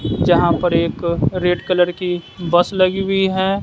जहां पर एक रेड कलर की बस लगी हुई है।